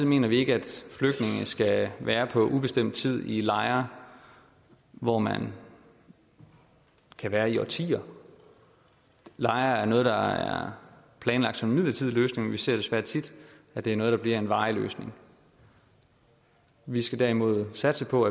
mener vi ikke at flygtninge skal være på ubestemt tid i lejre hvor man kan være i årtier lejre er noget der er planlagt som en midlertidig løsning men vi ser desværre tit at det er noget der bliver en varig løsning vi skal derimod satse på